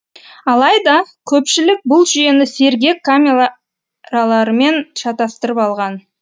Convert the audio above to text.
алайда көпшілік бұл жүйені сергек камераларымен шатастырып алған